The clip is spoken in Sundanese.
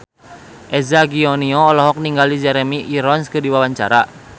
Eza Gionino olohok ningali Jeremy Irons keur diwawancara